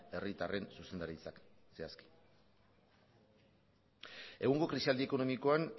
herritarren zuzendaritzak zehazki egungo krisialdi ekonomikoan